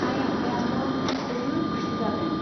आइ आफायाथ' जोबोद खुसि जादों।